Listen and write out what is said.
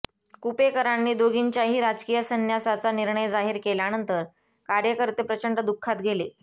कुपेकरांनी दोघींच्याही राजकीय संन्यासाचा निर्णय जाहीर केल्यानंतर कार्यकर्ते प्रचंड दुःखात गेले